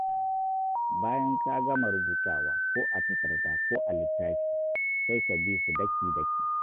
Bayan ka gama rubutawa ko a takarda ko a littafi, sai ka bi su daki-daki.